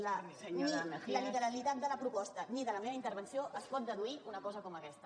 ni de la literalitat de la proposta ni de la meva intervenció es pot deduir una cosa com aquesta